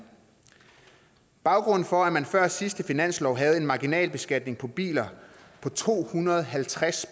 baggrunden for at man før sidste finanslov havde en marginalbeskatning på biler på to hundrede og halvtreds